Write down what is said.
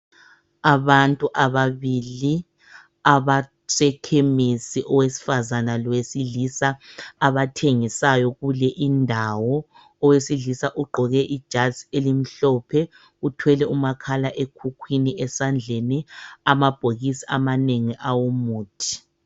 Abantu ababili abasekhemesi owesifazana lowesilisa abathengisayo kule indawo. Owesilisa ugqoke ijazi elimhlophe. Uthwele umakhala ekhukhwini esandleni amabhokisi amanengi awomuthi.